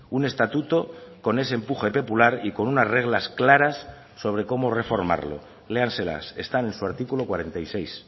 un estatuto con ese empuje popular y con unas reglas claras sobre cómo reformarlo léanselas están en su artículo cuarenta y seis